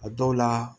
A dɔw la